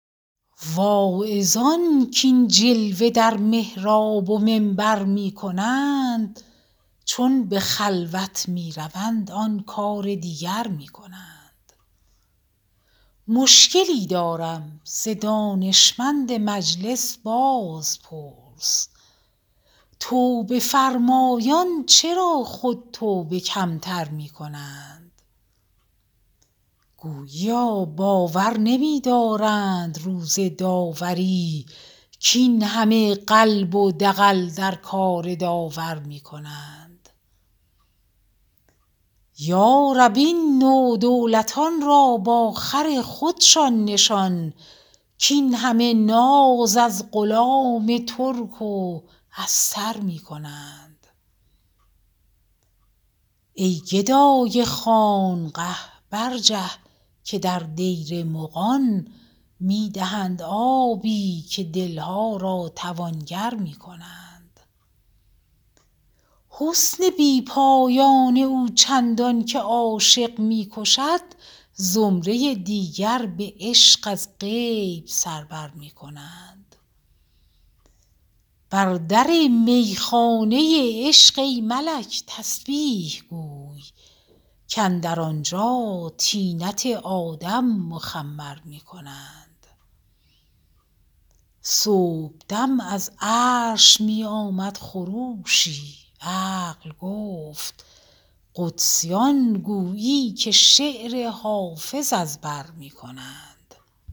واعظان کاین جلوه در محراب و منبر می کنند چون به خلوت می روند آن کار دیگر می کنند مشکلی دارم ز دانشمند مجلس بازپرس توبه فرمایان چرا خود توبه کم تر می کنند گوییا باور نمی دارند روز داوری کاین همه قلب و دغل در کار داور می کنند یا رب این نودولتان را با خر خودشان نشان کاین همه ناز از غلام ترک و استر می کنند ای گدای خانقه برجه که در دیر مغان می دهند آبی و دل ها را توانگر می کنند حسن بی پایان او چندان که عاشق می کشد زمره دیگر به عشق از غیب سر بر می کنند بر در می خانه عشق ای ملک تسبیح گوی کاندر آنجا طینت آدم مخمر می کنند صبح دم از عرش می آمد خروشی عقل گفت قدسیان گویی که شعر حافظ از بر می کنند